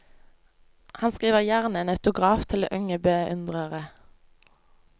Han skriver gjerne en autograf til unge beundrere.